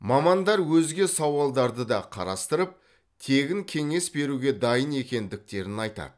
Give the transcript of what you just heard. мамандар өзге сауалдарды да қарастырып тегін кеңес беруге дайын екендіктерін айтады